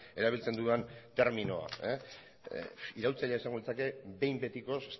erabiltzen dudan terminoa iraultzailea izango litzake behin betikoz